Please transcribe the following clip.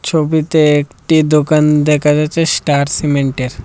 ছবিতে একটি দোকান দেখা যাচ্ছে স্টার সিমেন্টের।